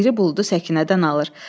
İri buludu Səkinədən alır.